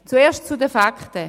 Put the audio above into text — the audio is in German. Zuerst zu den Fakten.